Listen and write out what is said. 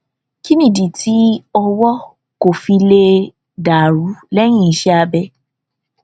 kí nìdí tí ọwó kò fi lè dà rú léyìn iṣé abẹ